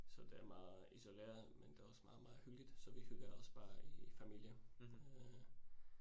Så det er meget isoleret men det også meget meget hyggeligt, så vi hygger os bare i familien øh